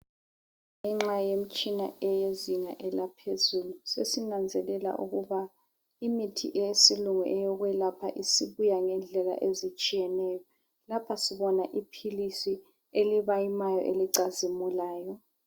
Ngenxa yemtshina eyezinga elaphezulu sesinanzelela ukuba imithi eyesilungu eyokwelapha isibuya ngendlela ezitshiyeneyo ,lapha sibona iphilisi elibayimayo elicazimulayo